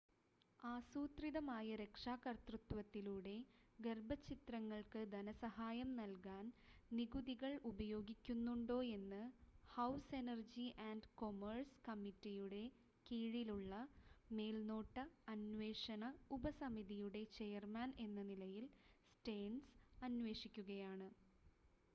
ആസൂത്രിതമായ രക്ഷാകർതൃത്വത്തിലൂടെ ഗർഭച്ഛിദ്രങ്ങൾക്ക് ധനസഹായം നൽകാൻ നികുതികൾ ഉപയോഗിക്കുന്നുണ്ടോയെന്ന് ഹൗസ് എനർജി ആൻഡ് കൊമേഴ്‌സ് കമ്മിറ്റിയുടെ കീഴിലുള്ള മേൽനോട്ട അന്വേഷണ ഉപസമിതിയുടെ ചെയർമാൻ എന്ന നിലയിൽ സ്റ്റേൺസ് അന്വേഷിക്കുകയാണ്